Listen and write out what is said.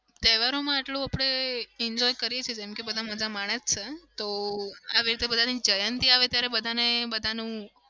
તહેવારોમાં આટલુ આપડે enjoy કરીએ છીએ જેમકે બધા મજા માણે જ છે તો આ બધાની જયંતી આવે ત્યારે બધાને બધાનું